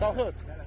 Qalxız!